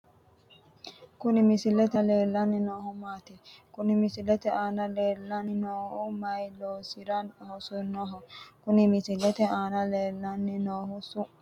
Kuni misilete aana leellanni noohu maati? Kuni misilete aana leellanni noohu mayii loosira hosannoho? kuni misilete aana leellanni noohu su'mi maati?